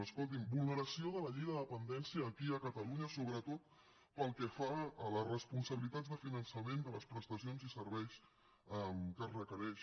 escolti’m vulneració de la llei de la dependència aquí a catalunya sobretot pel que fa a la responsabilitats de finançament de les prestacions i serveis que es requereix